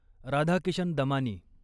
Radhakishan Damani